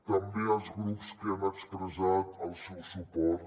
també als grups que han expressat el seu suport